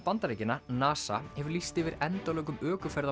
Bandaríkjanna NASA hefur lýst yfir endalokum